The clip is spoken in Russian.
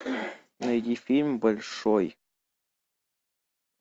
найди фильм большой